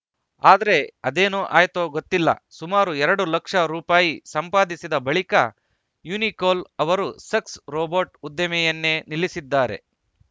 ಆದ್ರೆ ಅದೇನು ಆಯ್ತೋ ಗೊತ್ತಿಲ್ಲ ಸುಮಾರು ಎರಡು ಲಕ್ಷ ರೂಪಾಯಿ ಸಂಪಾದಿಸಿದ ಬಳಿಕ ಯುನಿಕೋಲ್‌ ಅವರು ಸಕ್ಸ್‌ ರೋಬೊಟ್‌ ಉದ್ದಿಮೆಯನ್ನೇ ನಿಲ್ಲಿಸಿದ್ದಾರೆ